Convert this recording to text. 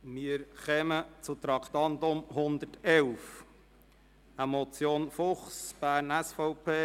Wir kommen zum Traktandum 111, der Motion Fuchs (SVP):